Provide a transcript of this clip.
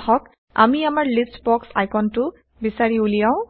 আহক আমি আমাৰ লিষ্ট বক্স আইকনটো বিচাৰি উলিয়াও